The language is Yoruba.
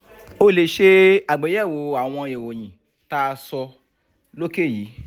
o lè ṣe àgbéyẹ̀wò àwọn ìròyìn tá a sọ lókè yìí